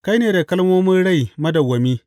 Kai ne da kalmomin rai madawwami.